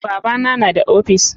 Babana na da ofis.